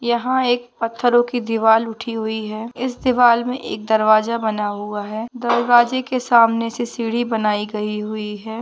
यहा एक पत्थरों की दीवाल उठी हुई है। इस दीवाल मे एक दरवाजा बना हुआ है। दरवाजे के सामने से सीडी बनाई गई हुई है।